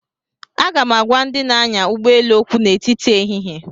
Aga m agwa ndị na-anya ụgbọ elu okwu n'etiti ehihie